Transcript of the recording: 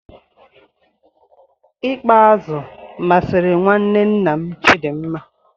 I kpa azu masịrị nwanne nna Chidinma.